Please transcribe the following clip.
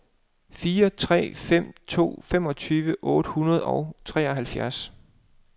fire tre fem to femogtyve otte hundrede og treoghalvfjerds